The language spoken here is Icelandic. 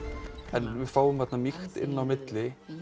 en við fáum þarna mýkt inn á milli